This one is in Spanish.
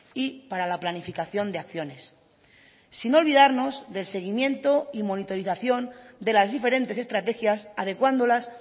y para la planificación de acciones sin olvidarnos del seguimiento y monitorización de las diferentes estrategias adecuándolas